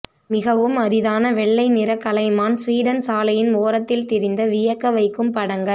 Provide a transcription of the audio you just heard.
மிகவும் அரிதான வெள்ளை நிற கலைமான் ஸ்வீடன் சாலையின் ஓரத்தில் திரிந்த வியக்கவைக்கும் படங்கள்